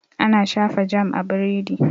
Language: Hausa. Ana shafa jam a biredi.